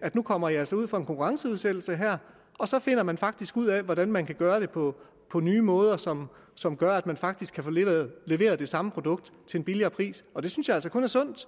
at nu kommer i altså ud for en konkurrenceudsættelse her og så finder man faktisk ud af hvordan man kan gøre det på på nye måder som som gør at man faktisk kan få leveret det samme produkt til en billigere pris og det synes jeg altså kun er sundt